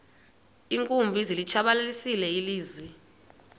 iinkumbi zilitshabalalisile ilizwe